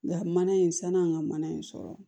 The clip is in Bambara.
Nka mana in san'an ka mana in sɔrɔ